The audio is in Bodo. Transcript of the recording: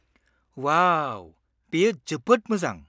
-अवाउ! बेयो जोबोद मोजां।